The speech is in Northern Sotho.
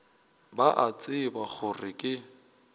ba a tseba gore ke